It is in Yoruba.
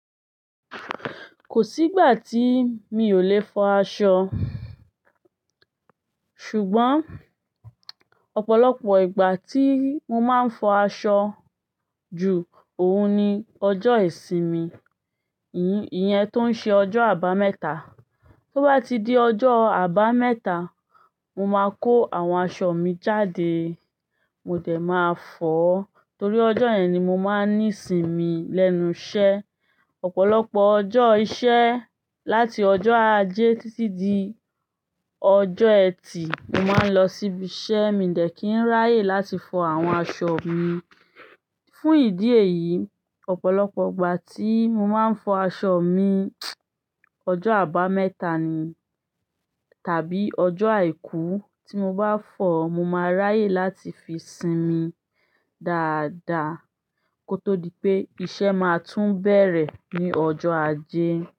Kòsí ìgbàtí mi ò lè fọ aṣọ ṣùgbọ́n ọ̀pọ̀lọpọ̀ ìgbà tí mo máa ń fi aṣọ ju ohun ní ọjọ́ ìsinmi iyẹn tó ń ṣe ọjọ́ àbámẹ́ta. Tó bá ti di ọjọ́ àbámẹ́ta, mo máa kó àwọn aṣọ mi jáde. Mo dẹ̀ máa fọ ó torí ọjọ́ yẹn ni mo máa ń ní ìsinmi lẹ́nu iṣẹ́. Ọ̀pọ̀lọpọ̀ ọjọ́ iṣẹ́, láti ọjọ́ ajé títí di ọjọ́ ẹtì, mo máa ń lọ sí ibi iṣẹ́, mi i dẹ kin ráyè láti fọ àwọn aṣọ mi. Fún ìdí èyí, ọ̀pọ̀lọpọ̀ ìgbà tí mo máa ń fọ aṣọ mi, ọjọ́ àbámẹ́ta ni tàbí ọjọ́ àìkú tí mo bá fọ, mo máa ráyè láti fi sinmi dáadáa kó tó di pé iṣẹ́ máa tún bẹ̀rẹ̀ ní ọjọ́ ajé.